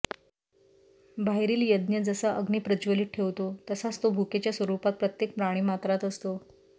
बाहेरील यज्ञ जसा अग्नी प्रज्वलित ठेवतो तसाच तो भुकेच्या स्वरुपात प्रत्येक प्राणीमात्रात असतो